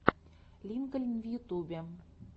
линкольн в ютубе